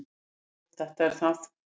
"""Jú, þetta er það."""